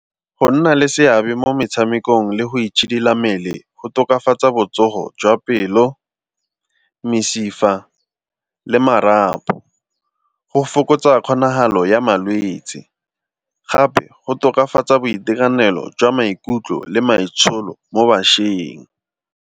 Go nna le seabe mo metshamekong le go itshidila mmele go tokafatsa botsogo jwa pelo, mesifa le marapo. Go fokotsa kgonagalo ya malwetsi gape go tokafatsa boitekanelo jwa maikutlo le maitsholo mo bašweng.